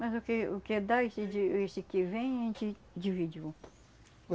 Mas o que o que dá esse que que vem, a gente divide.